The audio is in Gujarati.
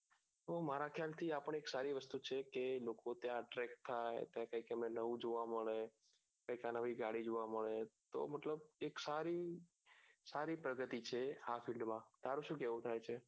તો મારા ખ્યાલ થી આપણી એક સારી વસ્તુ છે કે એ લોકો ત્યાં ટ્રેક થાય professor ને નવું જોવા મળે કે ત્યાના પછી જાળી જોવા મળે તો મતલબ એક સારી સારી પ્રગતી છે આ પીંડ માં તારું શું કેવું થાય છે